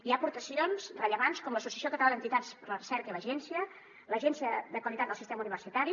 hi ha aportacions rellevants com l’associació catalana d’entitats per a la recerca l’agència de qualitat del sistema universitari